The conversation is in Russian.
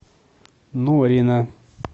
норина